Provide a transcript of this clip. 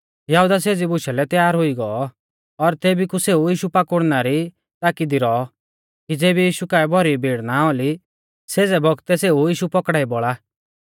यहुदा सेज़ी बुशा लै तैयार हुई गौ और तेभी कु सेऊ यीशु पकड़ाउणा री ताकी दी रौ कि ज़ेबी यीशु काऐ भौरी भीड़ ना औली सेज़ै बौगतै सेऊ यीशु पौकड़ाई बौल़ा